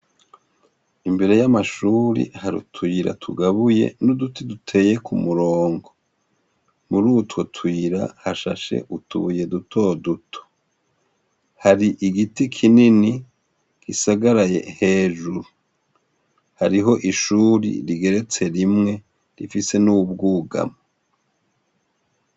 Imbere y'amashuri hariutwira tugabuye n'uduti duteye ku murongo muri utwo twira hashashe utuye dutoduto hari igiti kinini gisagaraye hejuru hariho ishuri rigeretse rimwe rifise n'uwo ubwugama.